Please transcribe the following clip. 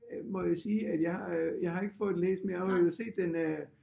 Må jo sige at jeg øh jeg har ikke fået den læst men jeg har set den